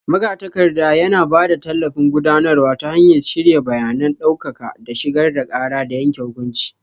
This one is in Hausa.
Magatakarda yana ba da tallafin gudanarwa ta hanyar shirya bayanan ɗaukaka da shigar da ƙara da yanke hukunci.